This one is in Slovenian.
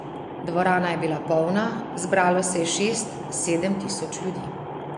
Dvorana je bila polna, zbralo se je šest, sedem tisoč ljudi.